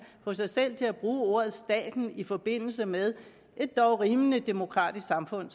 få sig selv til at bruge ordet staten i forbindelse med et dog rimelig demokratisk samfund